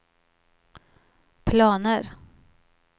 planer